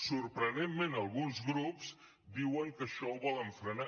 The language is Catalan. sorprenentment alguns grups diuen que això ho volen frenar